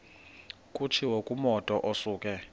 kutshiwo kumotu osuke